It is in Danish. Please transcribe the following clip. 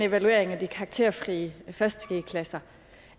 evalueringen af de karakterfrie første g klasser